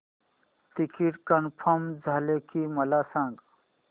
ticket confirm झाले की मला सांग